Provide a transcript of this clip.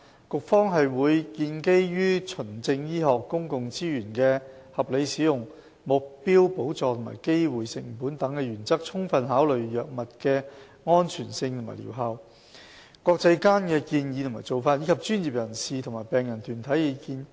局方會建基於循證醫學、公共資源的合理使用、目標補助和機會成本等原則，充分考慮藥物的安全性和療效、國際間的建議和做法，以及專業人士和病人團體的意見。